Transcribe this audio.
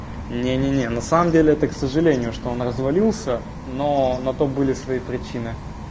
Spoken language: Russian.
не не не на самом деле это к сожалению что он развалился но на то были свои причины